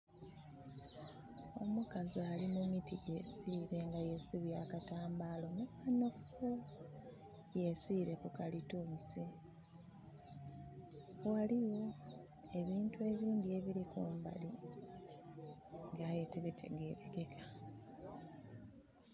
Omukazi ali mu miti, yesiile, nga yesibye akatambaala omusanhufu. Yesiile ku kalitunsi. Ghaligho ebintu ebindhi ebili kumbali nga aye tibitegelekeka.